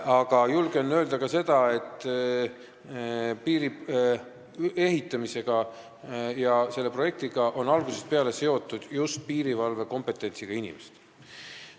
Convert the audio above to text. Aga julgen öelda ka seda, et piiri ehitamisega ja selle projektiga on algusest peale seotud olnud just piirivalvekompetentsiga inimesed.